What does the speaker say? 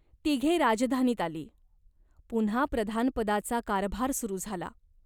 तिघे राजधानीत आली. पुन्हा प्रधानपदाचा कारभार सुरू झाला.